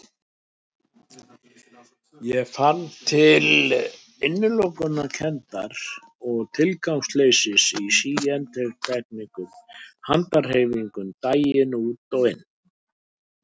Ég fann til innilokunarkenndar og tilgangsleysis í síendurteknum handahreyfingum daginn út og inn.